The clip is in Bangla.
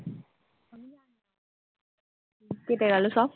কেটে গেলো সব।